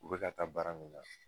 U bɛka taa baara min na